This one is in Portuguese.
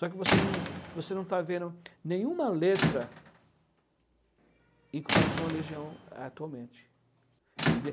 Só que você não você não está vendo nenhuma letra em comparação à Legião atualmente.